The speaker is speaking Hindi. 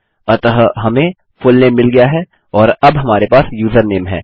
अतः हमें फुलनेम मिल गया है और अब हमारे पास यूजरनेम है